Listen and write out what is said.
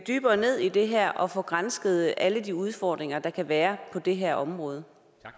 dybere ned i det her og få gransket alle de udfordringer der kan være på det her område